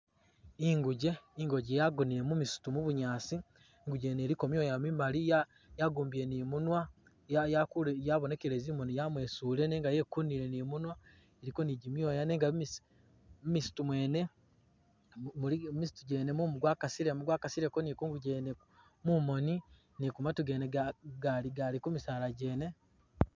Inguje inguje yagonele mumisitu mubunyaasi inguje yene iliko mwoya mimali yagumbile ni munwa yabonekele zimoni yamwesule nenga yekunike ni mumwa iliko ni jimwaya nenga mumisito mumu gwakasilemo ni kunguje yene mumoni ni kumatu gene gali kumisala gene.